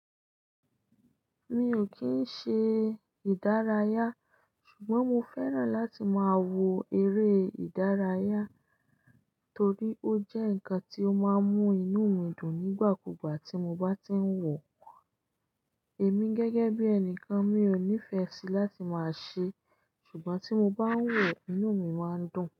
Mi ò kì í ṣe ìdárayá ṣùgbọ́n mo fẹ́ràn láti máa wo eré ìdárayá, torí ó jẹ́ nǹkan tí ó máa ń mú inú mi dùn nígbà kugbà tí mo bá ti ń wọ̀ Èmi gẹ́gẹ́ bí ènìkan mi ò nífẹ̀ẹ́ sí láti máa ṣe ẹ́ ṣùgbọ́n tí mo bá ń wọ̀ inú mi máa ń dùn.